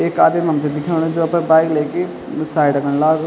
एक आदिम हमथे दिखेणु जो अपर बाइक लेके साइड खन लागू।